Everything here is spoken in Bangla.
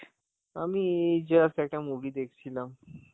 আমি এই just একটা movie দেখছিলাম.